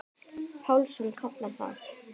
Pálsson kallar það.